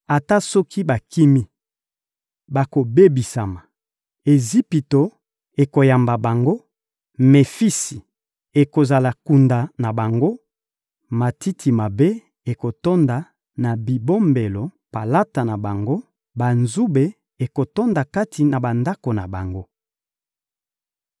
Ata soki bakimi, bakobebisama; Ejipito ekoyamba bango, Mefisi ekozala kunda na bango; matiti mabe ekotonda na bibombelo palata na bango, banzube ekotonda kati na bandako na bango.